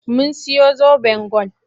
Mun siyo zoben gwal.